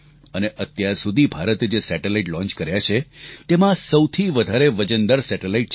અને અત્યાર સુધી ભારતે જે સેટેલાઇટ લોન્ચ કર્યા છે તેમાં આ સૌથી વધારે વજનદાર સેટેલાઇટ છે